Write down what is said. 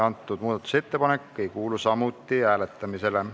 See muudatusettepanek ei kuulu samuti hääletamisele.